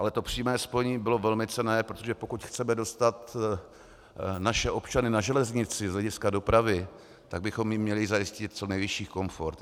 Ale to přímé spojení bylo velmi cenné, protože pokud chceme dostat naše občany na železnici z hlediska dopravy, tak bychom jim měli zajistit co nejvyšší komfort.